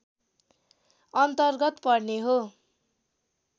अन्तर्गत पर्ने हो